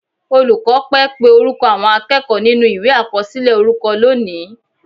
Olùkọ́ pẹ́ pé orúkọ àwọn akẹ́kọ̀ọ́ nínú Ìwé àkọsílẹ̀ orúkọ lónìí